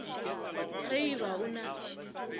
ge e ba o a